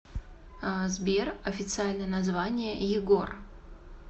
сбер официальное название егор